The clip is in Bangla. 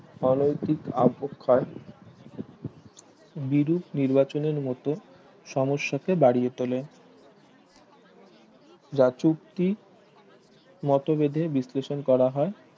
অনৈতিক অবক্ষয় বিরূপ নির্বাচনের মতে সমস্যা কে বাড়িয়ে তোলে যা চুক্তি মতভেদে বিশ্লেষণ করা হয়